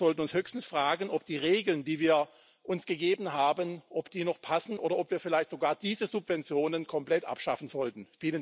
Wir sollten uns höchstens fragen, ob die Regeln, die wir uns gegeben haben, noch passen oder ob wir vielleicht sogar diese Subventionen komplett abschaffen sollten.